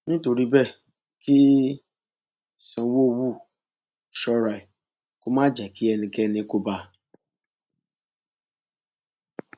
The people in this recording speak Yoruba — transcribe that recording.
nítorí bẹẹ kí sanwóówù ṣọra ẹ kó má jẹ kí ẹnikẹni kó bá a